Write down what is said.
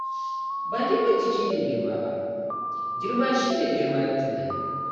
Ba girman jiki ne girma ba, girma shi ne girma na tunani.